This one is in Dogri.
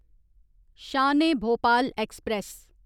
शान ए भोपाल ऐक्सप्रैस